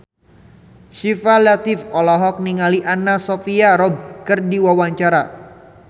Syifa Latief olohok ningali Anna Sophia Robb keur diwawancara